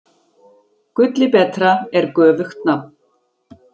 Gulli betra er göfugt nafn.